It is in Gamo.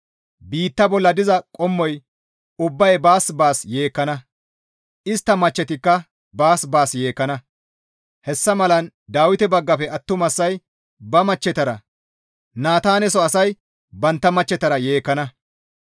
Biitta bolla diza qommoy ubbay baas baas yeekkana; istta machchetikka baas baas yeekkana; hessa malan Dawite baggafe attumasay ba machchetara, Naataaneso asay bantta machchetara yeekkana.